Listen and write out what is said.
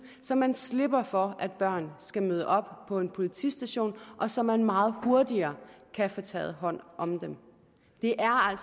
så man slipper for at børn skal møde op på en politistation og så man meget hurtigere kan få taget hånd om dem det er